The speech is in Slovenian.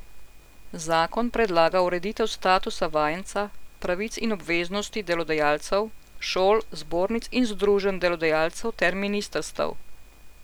Zakon predlaga ureditev statusa vajenca, pravic in obveznosti delodajalcev, šol, zbornic in združenj delodajalcev ter ministrstev.